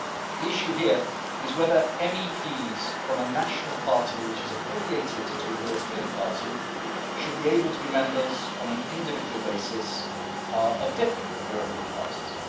The issue here is whether MEPs from a national party which is affiliated to a European party should be able to be members, on an individual basis, of different European parties.